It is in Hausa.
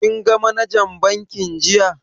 Kin ga manajan bankin jiya?